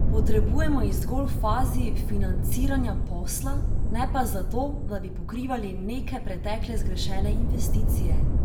Potrebujemo jih zgolj v fazi financiranja posla, ne pa za to, da bi pokrivali neke pretekle zgrešene investicije.